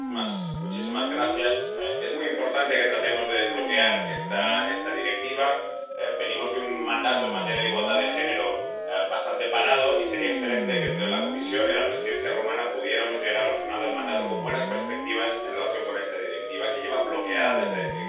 Señor presidente, es muy importante que tratemos de desbloquear esta Directiva. Venimos de un mandato en materia de igualdad de género bastante parado, y sería excelente que entre la Comisión y la Presidencia rumana pudiéramos llegar al final del mandato con buenas perspectivas en relación con esta Directiva, que lleva bloqueada desde que se presentó en el año